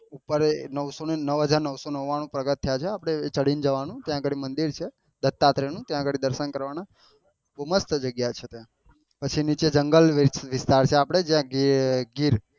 ઉપર નવસો ને નવું હાજર નવસો ને નવાણું પગથીયા છે આપડે ચડી ને જવાનું ત્યાં આગળ મંદિર છે ત્યાં દર્શન કરવાના બહુ મસ્ત જગ્યા છે ત્યાં પછી નીચે જંગલ વિસ્તાર છે આપડે જ્યાં ગીર